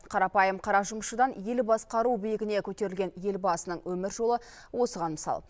қарапайым қара жұмысшыдан ел басқару биігіне көтерілген елбасының өмір жолы осыған мысал